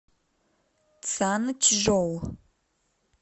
цанчжоу